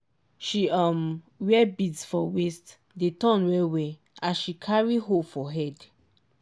she um wear beads for waist dey turn well-well as she carry hoe for head